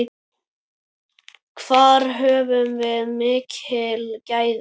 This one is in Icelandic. Þar höfum við mikil gæði.